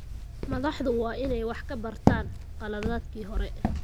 Madaxdu waa inay wax ka bartaan khaladaadkii hore.